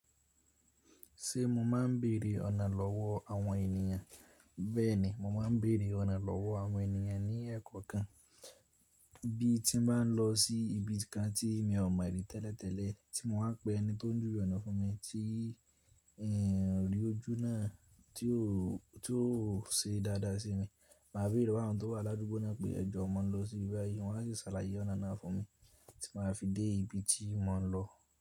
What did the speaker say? Ṣé mo ma ń bèèrè ọ̀nà lọ́wọ́ àwọn ènìyàn, bẹ́ẹ̀ni, mo ma ń bèèrè ọ̀nà lọ́wọ́ àwọn ènìyàn ní ẹ́kọo kan. Bí tí mo bá ń lọ sí ibi kan tí mi ò mọ̀ rí tẹ́lẹ̀tẹ́lẹ̀, tí mo wá n pè ẹni tó ń júwe ọ̀nà fún mi tí n ri ò ojú náà tí ò ṣe dáadáa sí mi, màá béèrè àwọn tó wà lágbo náà pé ẹ jọ mọ̀ lọ sí ibi báyìí, wọn a sì ṣàlàyé ọ̀nà náà fún mi tí màá fi dé ibi tí mò ń lọ.